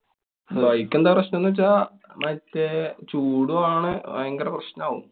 bike എന്താ പ്രശ്നം ന്നു വച്ചാ. മറ്റേ ചൂടും ആണ്, ഭയങ്കര പ്രശ്നാവും.